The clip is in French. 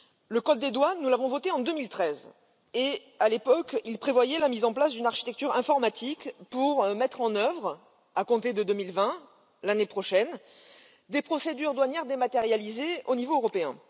Le code des douanes tel que nous l'avons voté en 2013 prévoyait à l'époque la mise en place d'une architecture informatique pour mettre en œuvre, à compter de 2020, l'année prochaine, des procédures douanières dématérialisées au niveau européen.